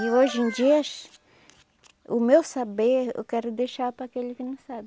E hoje em dias, o meu saber eu quero deixar para aquele que não sabe.